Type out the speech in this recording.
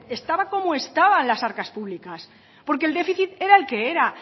estaban como estaban las arcas públicas porque el déficit era el que era